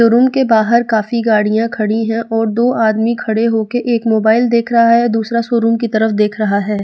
Showroom के बाहर काफी गाड़ियां खड़ी हैं और दो आदमी खड़े हो के एक मोबाइल देख रहा है दूसरा शोरूम की तरफ देख रहा है।